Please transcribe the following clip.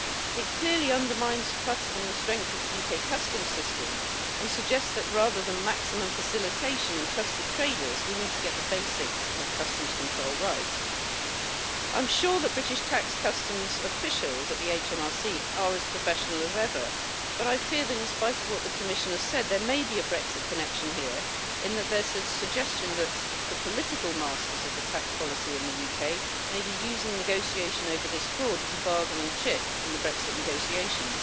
It clearly undermines trust in the strength of the UK customs system and suggests that rather than maximum facilitation and trusted traders, we need to get the basics of customs control right. I'm sure that British tax customs officials at Her Majesty's Revenue and Customs are as professional as ever, but I fear that, in spite of what the Commissioner said, there may be a Brexit connection here, in that there is a suggestion that the political masters of the tax policy in the UK may be using negotiation over this fraud as a bargaining chip in the it negotiations.